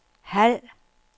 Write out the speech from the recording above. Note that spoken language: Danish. halv